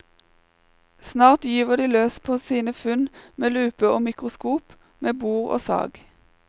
Snart gyver de løs på sine funn med lupe og mikroskop, med bor og sag.